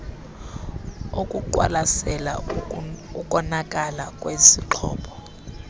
okuqwalasela ukonakala kwesixhobo